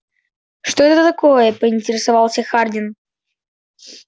что это такое поинтересовался хардин